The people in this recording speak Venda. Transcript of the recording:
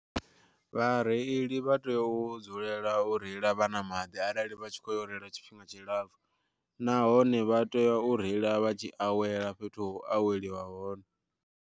Vhareili vha tea u dzulela u reila vha na maḓi arali vha tshi kho yo reila tshifhinga tshi lapfu, nahone vha tea u reila vha tshi awela fhethu ho u aweliwa hone.